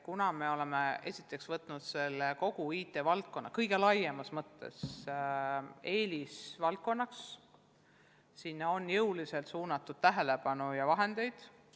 Kuna me oleme seadnud kogu IT-valdkonna kõige laiemas mõttes eelisvaldkonnaks, on sinna jõuliselt suunatud tähelepanu ja vahendeid.